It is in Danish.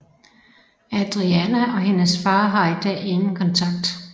Adriana og hendes far har i dag ingen kontakt